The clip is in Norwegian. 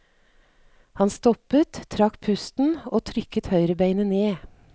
Han stoppet, trakk pusten og trykket høyrebeinet ned.